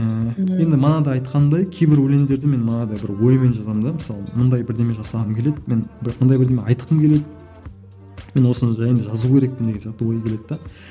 ыыы енді мана да айтқанымдай кейбір өлеңдерді мен манадай бір оймен жазамын да мысалы мындай бірдеме жасағым келеді мен мындай бірдеңе айтқым келеді мен осыны жайында жазу керекпін деген сияқты ой келеді де